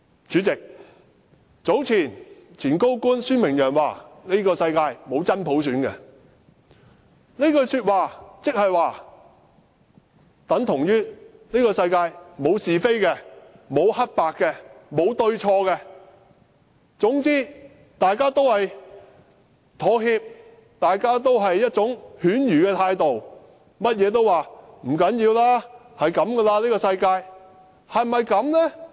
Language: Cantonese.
主席，早前前高官孫明揚說，這個世界沒有真普選，這句話等同這個世界沒有是非，沒有黑白，沒有對錯，總之大家要妥協，大家要用犬儒的態度，甚麼事情也說不要緊，這個世界便是這樣子。